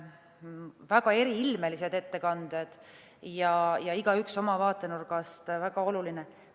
Väga eriilmelised ettekanded, igaüks oma vaatenurgast väga oluline.